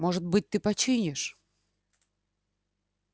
может быть ты починишь